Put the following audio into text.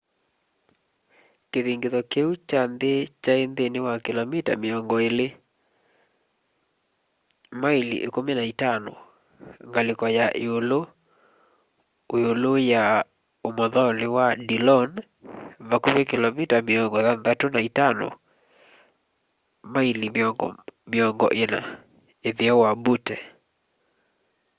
kĩthingitho kĩu kya nthĩ kyaĩ nthĩnĩ wa kĩlomita mĩongo ĩlĩ maĩli ĩkumi na itano ngalĩko ya ĩũlũĩ-ũĩlũ ya ũmothonĩ wa dillon vakuvĩ kĩlomita mĩongo thanthatũ na itano maĩli mĩongo ĩna ĩtheo wa butte